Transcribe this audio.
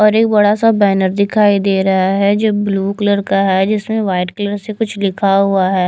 और एक बड़ा सा बैनर दिखाई दे रहा है जो ब्लू कलर का है जिसमें व्हाइट कलर से कुछ लिखा हुआ है।